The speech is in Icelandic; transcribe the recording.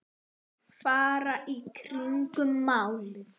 Fara í kringum málið?